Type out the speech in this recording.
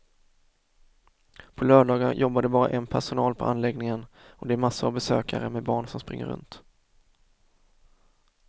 På lördagar jobbar det bara en personal på anläggningen och det är massor av besökare med barn som springer runt.